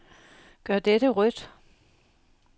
Gør dette rødt.